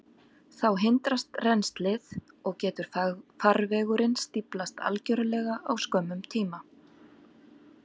Þá hindrast rennslið, og getur farvegurinn stíflast algjörlega á skömmum tíma.